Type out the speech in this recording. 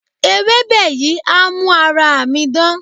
Ewébẹ̀ yìí á mú ara mi dán.